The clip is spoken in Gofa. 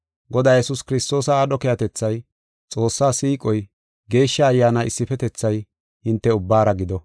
Godaa Yesuus Kiristoosa aadho keehatethay, Xoossaa siiqoy, Geeshsha Ayyaana issifetethay hinte ubbaara gido.